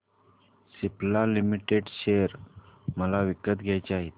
Cipla limited share मला विकत घ्यायचे आहेत